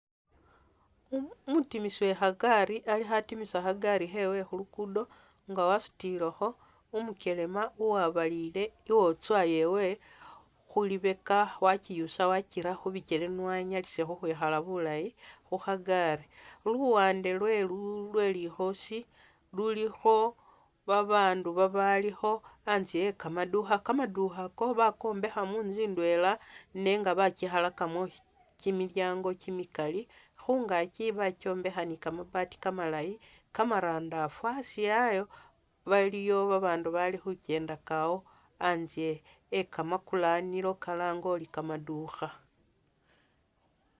Umutimisi Uwe khagaali ali khatimisa khagaali khewe khu'luguudo nga wasutilekho umukelema uwabalile iwotswa yewe khulibeka wakyiyusa wakyira khubikyele nio anyalise khukhwikhala bulaayi khukhagaali, khuluwande lwe likhoosi luliikho babaandu babalikho, atsye e'kamandukha kamandukha ako bakombeekha mutsu ndwela nenga bakyikhalakamo kyimilyaango kyimikaali, khungaakyi bakyombekha ni'kamabaati kamalaayi kamarandaafa asi ayo baliyo babandu bali khukendakaawo atse e'kamakulanilo kalaange uli kamaduukha